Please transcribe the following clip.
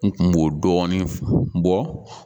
N kun b'o dɔɔnin bɔ